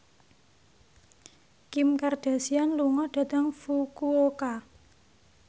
Kim Kardashian lunga dhateng Fukuoka